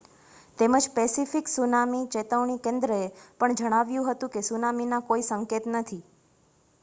તેમજ Pacific tsunami ચેતવણી કેન્દ્રએ પણ જણાવ્યું હતું કે સુનામીના કોઈ સંકેત નથી